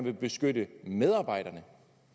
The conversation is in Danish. at beskytte medarbejderne